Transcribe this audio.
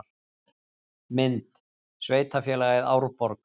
Mynd: Sveitarfélagið Árborg